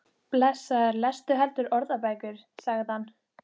Takið frá tíma fyrir sambandið og setjið samverustundirnar í forgang